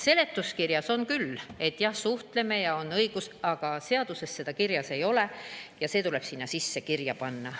Seletuskirjas on küll, et jah, suhtleme, õige, aga seaduses seda kirjas ei ole ja see tuleb sinna kirja panna.